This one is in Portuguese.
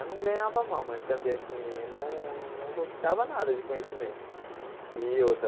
Eu não ganhava mal, mas também assim não não conquistava nada de conhecimento e outra.